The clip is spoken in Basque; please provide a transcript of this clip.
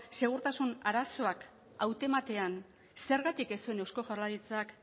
segurtasun arazoak hautematean zergatik ez zuen eusko jaurlaritzak